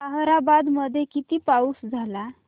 ताहराबाद मध्ये किती पाऊस झाला